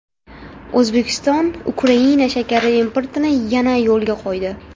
O‘zbekiston Ukraina shakari importini yana yo‘lga qo‘ydi.